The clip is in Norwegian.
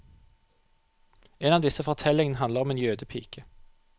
En av disse fortellingene handler om en jødepike.